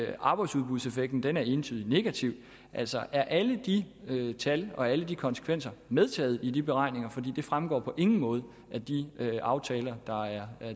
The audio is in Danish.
er arbejdsudbudseffekten entydigt negativ altså er alle de tal og alle de konsekvenser medtaget i de beregninger for det fremgår på ingen måde af de aftaler der er